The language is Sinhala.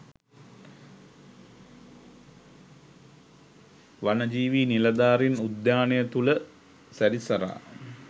වනජීවී නිලධාරීන් උද්‍යානය තුළ සැරිසරා